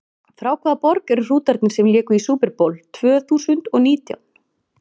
Frá hvaða borg eru Hrútarnir sem léku í Super Bowl tvö þúsund og nítján?